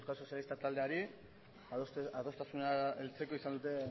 sozialistak taldeari adostasunera heltzeko izan duten